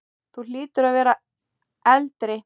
Þú hlýtur að vera eldri!